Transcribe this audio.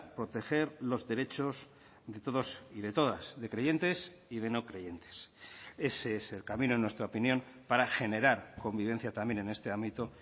proteger los derechos de todos y de todas de creyentes y de no creyentes ese es el camino en nuestra opinión para generar convivencia también en este ámbito